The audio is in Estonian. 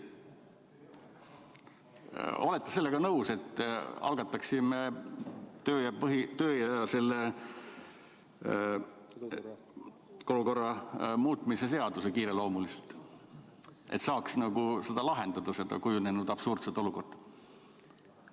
Olete sellega nõus, et algataksime selle kodu- ja töökorra seaduse muutmise seaduse kiireloomuliselt, et saaks lahendada seda kujunenud absurdset olukorda?